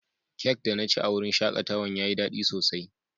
Cak da na ci a'wurin shakatawan ya yi dadi sosai.